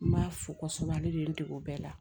N b'a fo kosɛbɛ ale de ye n dege o bɛɛ la